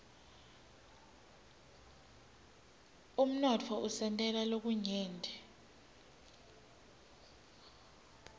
umnotfo usentela lokunyenti